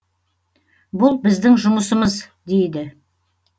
бұл біздің жұмысымыз дейді